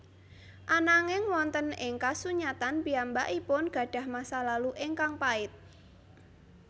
Ananging wonten ing kasunyatan piyambakipun gadah masa lalu ingkang pait